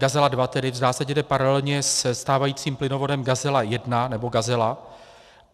Gazela 2 tedy v zásadě jde paralelně se stávajícím plynovodem Gazela 1, nebo Gazela.